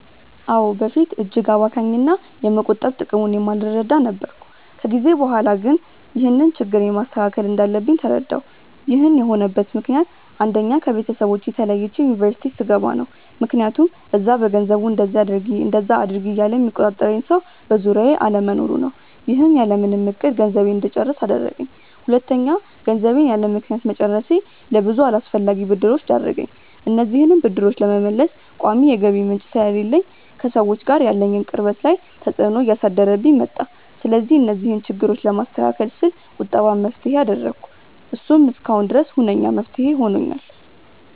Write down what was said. አዎ። በፊት እጅግ አባካኝ እና የመቆጠብ ጥቅሙን የማልረዳ ነበርኩ። ከጊዜ በኋላ ግን ይህንን ችግሬን ማስተካከል እንዳለብኝ ተረዳሁ። ይህን የሆነበት ምክንያት አንደኛ: ከቤተሰቦቼ ተለይቼ ዩኒቨርስቲ ስገባ ነው። ምክያቱም እዛ በገንዘቡ እንደዚ አድርጊ እንደዛ አድርጊ እያለ የሚቆጣጠረኝ ሰው በዙሪያዬ አለመኖሩ ነው። ይህም ያለምንም እቅድ ገንዘቤን እንድጨርስ አደረገኝ። ሁለተኛ: ገንዘቤን ያለምክንያት መጨረሴ ለብዙ አላስፈላጊ ብድሮች ዳረገኝ። እነዚህንም ብድሮች ለመመለስ ቋሚ የገቢ ምንጭ ስለሌለኝ ከሰዎች ጋር ያለኝን ቅርበት ላይ ተፅዕኖ እያሳደረብኝ መጣ። ስለዚህ እነዚህን ችግሮች ለማስተካከል ስል ቁጠባን መፍትሄ አደረኩ። እሱም እስካሁን ድረስ ሁነኛ መፍትሄ ሆኖኛል።